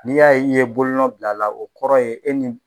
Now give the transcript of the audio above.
N'i y'a ye i ye bolonɔ bila a la o kɔrɔ ye e ni